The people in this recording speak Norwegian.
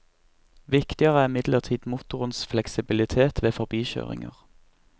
Viktigere er imidlertid motorens fleksibilitet ved forbikjøringer.